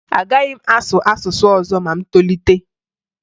Agaghị m asụ asụsụ ọzọ ma m tolite